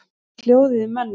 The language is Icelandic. Hvernig er hljóðið í mönnum?